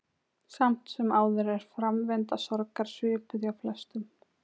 tígrisdýrið hefur orðið að tákni fyrir dýr í útrýmingarhættu í asíu